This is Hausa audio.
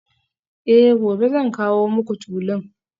Eh gobe zan kawo muku tulun